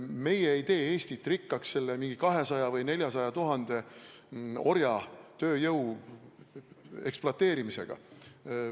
Meie ei tee Eestit rikkaks 200 000 või 400 000 orja tööjõu ekspluateerimisega.